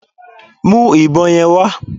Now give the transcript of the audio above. Mú ìbọn yẹn wá